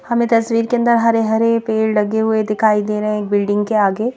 हमें तस्वीर के अंदर हरे-हरे पेड़ लगे हुए दिखाई दे रहे हैं एक बिल्डिंग के आगे।